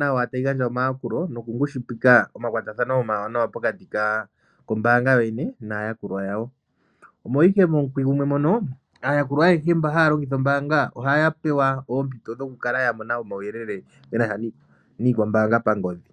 nawa tayi gandja omayakulo nokungushipika omakwatathano omawanawa pokati kombaanga yoyene naayakulwa yawo. Omo ihe momukwi gumwe mono aayakulwa ayehe mba ha ya longitha ombaanga ohaya pewa oompito dhokukala ya mona omauyelele ge na sha niikwambaanga pangodhi.